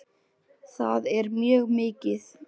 Það er mjög mikið.